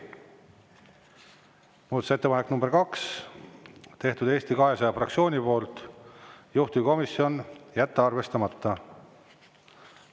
Muudatusettepaneku nr 2 on teinud Eesti 200 fraktsioon, juhtivkomisjon: jätta arvestamata.